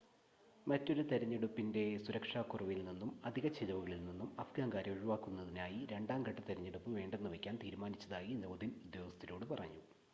മറ്റൊരു തിരഞ്ഞെടുപ്പിൻ്റെ സുരക്ഷാക്കുറവിൽ നിന്നും അധിക ചിലവുകളിൽ നിന്നും അഫ്ഗാൻകാരെ ഒഴിവാക്കുന്നതിനായി രണ്ടാം ഘട്ട തിരഞ്ഞെടുപ്പ് വേണ്ടെന്നുവയ്ക്കാൻ തീരുമാനിച്ചതായി ലോദിൻ ഉദ്യോഗസ്ഥരോട് പറഞ്ഞു